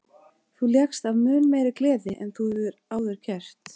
Þú lékst af mun meiri gleði en þú hefur áður gert.